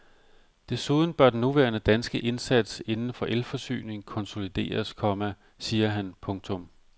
Desuden bør den nuværende danske indsats inden for elforsyning konsolideres, komma siger han. punktum